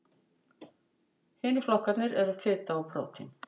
Hinir flokkarnir eru fita og prótín.